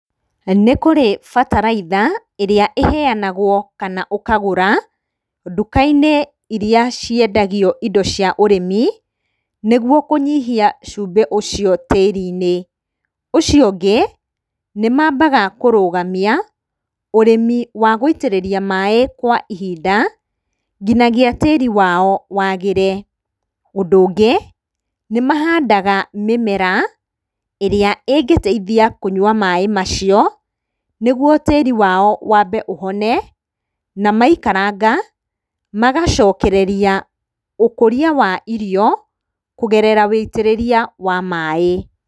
Nĩ kũrĩ bataraitha ĩrĩa ĩhenagwo kana ũkagũra nduka-inĩ iria ciendagio indo cia ũrĩmi, nĩguo kũnyihia cumbĩ ũcio tĩri-inĩ. Ũcio ũngĩ, nĩmambaga kũrũngamia ũrĩmi wa gũitĩrĩria maaĩ kwa ihinda nginyagia tĩri wao wagĩre. Ũndũ ũngĩ, nĩmahandaga mĩmera ĩrĩa ĩngĩteithia kũnyua maaĩ macio, nĩguo tĩri wao wambe ũhone, na maikaranga magacokereria ũkũria wa irio kũgerera wũitĩrĩria wa maaĩ.